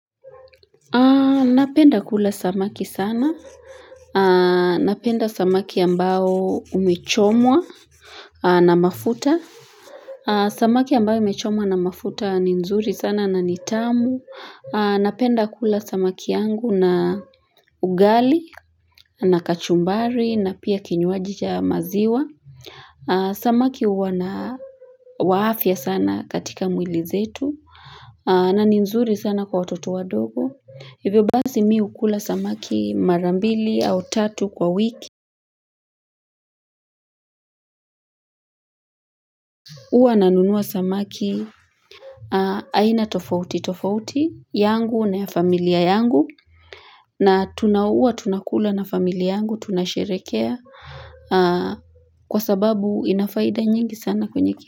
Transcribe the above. Napenda kula samaki sana. Napenda samaki ambao umechomwa na mafuta. Samaki ambao imechomwa na mafuta ni nzuri sana na nitamu. Napenda kula samaki yangu na ugali, na kachumbari, na pia kinywaji cha maziwa. Samaki uwa na wa afya sana katika mwili zetu na ni nzuri sana kwa watoto wadogo Hivyo basi mi hukula samaki mara mbili au tatu kwa wiki Uwa na nunua samaki aina tofauti tofauti yangu na ya familia yangu na tunauwa tunakula na familia yangu Tunasherekea Kwa sababu inafaida nyingi sana kwenye kia.